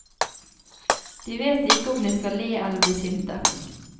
De vet ikke om de skal le eller bli sinte.